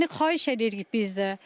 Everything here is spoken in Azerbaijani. Yəni xahiş edirik biz də.